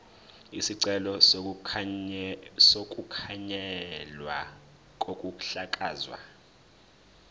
isicelo sokukhanselwa kokuhlakazwa